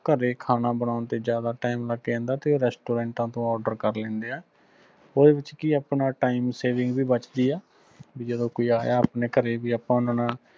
ਘਰੇ ਖਾਣਾ ਬਣੌਨ ਤੇ ਜਿਆਦਾ time ਲੱਗ ਜਾਂਦਾ ਤੇ ਉਹ ਰੈਸਟੂਰੈਂਟਾ ਤੋਂ order ਕਰ ਲੈਂਦੇ ਆ ਓਹਦੇ ਵਿਚ ਕਿ ਆ ਆਪਣੀ time saving ਵੀ ਵੱਚਦੀ ਆ ਜਦੋ ਕੋਈ ਆਇਆ ਵੀ ਆਪਣੇ ਘਰੇ ਵੀ ਆਪਾ ਓਹਨਾ ਨਾਲ